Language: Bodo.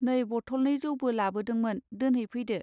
नै बथलनै जौबो लाबोदोंमोन दोनहै फैदो.